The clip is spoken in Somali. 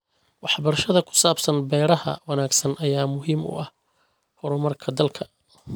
Waxbarashada ku saabsan beeraha wanaagsan ayaa muhiim u ah horumarka dalka.